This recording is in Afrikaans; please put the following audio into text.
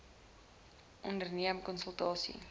dbip onderneem konsultasie